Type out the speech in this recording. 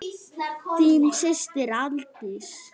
Þín systir, Aldís.